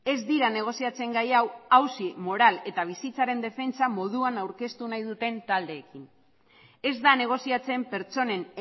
ez dira negoziatzen gai hau auzi moral eta bizitzaren defentsa moduan aurkeztu nahi duten taldeekin ez da negoziatzen pertsonen